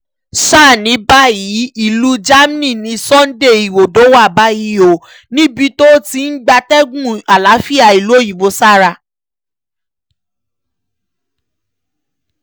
sá ní báyìí ìlú germany ni sunday igbodò wà báyìí o níbi tó ti ń gbatẹ́gùn àlàáfíà ìlú òyìnbó sára